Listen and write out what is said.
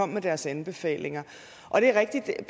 med deres anbefalinger og det er rigtigt at